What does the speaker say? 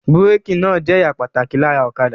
Búrékì náà jẹ́ ẹ̀ya pàtàkì lára ọ̀kadà.